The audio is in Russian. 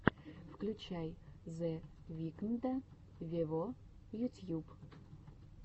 включай зе викнда вево ютьюб